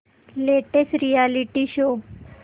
latest reality show